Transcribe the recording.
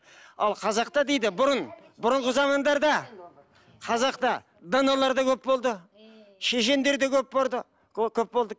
ал қазақта дейді бұрын бұрынғы замандарда қазақта даналар да көп болды шешендер де көп көп болды